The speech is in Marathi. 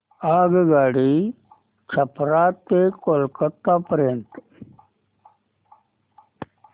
आगगाडी छपरा ते कोलकता पर्यंत